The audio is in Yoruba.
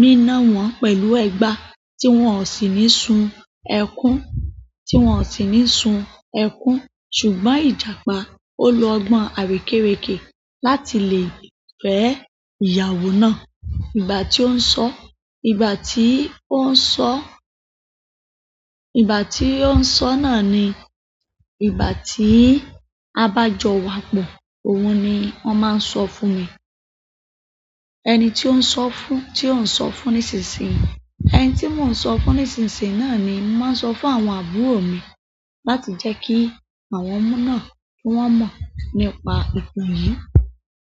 nina wọn pẹ̀lú ẹgba tí wọ́n ó sì ní sun ẹkún, tí wọ́n ó sì ní sun ẹkún. Ṣùgbọ́n Ìjàpá ó lo ọgbọ́n àrékérekè láti lè fẹ́ ìyàwó náà. Ìgbà tí ó ń sọ, ìgbà tí ó ń sọ, ìgbà tí ó ń sọ náà ni ìgbà tí a bá jọ wa pọ̀. Ohun ni wọ́n máa ń sọ fún mi. Ẹni tí ó ń sọ fún, tí ó ń sọ fún nísinsìnyí. Ẹni tí mò ń sọ fún nísinsìnyí náà ni mo màá ń sọ fún àwọn àbúrò mi láti jẹ́ kí àwọn ọmọ náà kí wọ́n mọ̀ nípa ìtàn yìí.